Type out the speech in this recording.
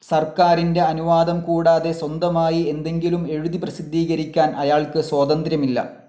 സർക്കാരിൻ്റെ അനുവാദംകൂടാതെ സ്വന്തമായി എന്തെങ്കിലും എഴുതുതി പ്രസിദ്ധീകരിക്കാൻ അയാൾക്ക് സ്വാതന്ത്ര്യമില്ല.